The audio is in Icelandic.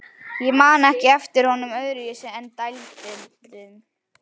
Ég man ekki eftir honum öðruvísi en dælduðum.